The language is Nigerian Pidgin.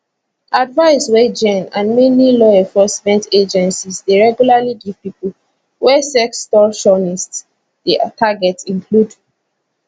advice wey jenn and many lawenforcement agencies deyregularly givepipo wey sextortionists dey target include